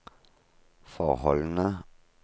forholdene